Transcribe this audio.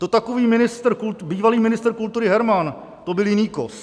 To takový bývalý ministr kultury Herman, to byl jiný kos.